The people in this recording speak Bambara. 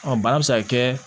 bana bɛ se ka kɛ